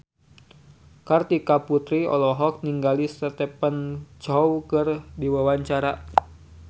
Kartika Putri olohok ningali Stephen Chow keur diwawancara